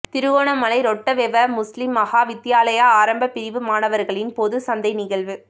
Trincomalee Rottawewa Muslim Maha Vidyalaya ஆரம்ப பிரிவு மாணவர்களின் பொது சந்தை நிகழ்வு